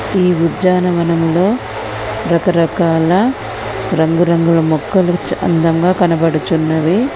ఈ ఉద్యానవనములో రకరకాల రంగురంగుల మొక్కలు చ అందంగా కనబడుచున్నవి.